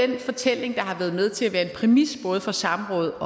den fortælling der har været med til at være en præmis både for samrådet